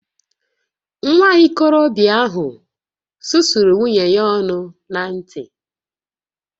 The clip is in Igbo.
Nwa okorobịa ahụ susuru nwunye ya ọnụ na ǹtì